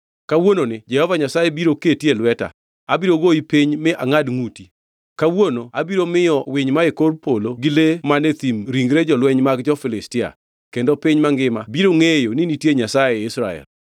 Kawuononi Jehova Nyasaye biro keti e lweta, abiro goyi piny mi angʼad ngʼuti. Kawuono abiro miyo winy mae kor polo gi le man e thim ringre jolweny mag jo-Filistia, kendo piny mangima biro ngʼeyo ni nitie Nyasaye ei Israel.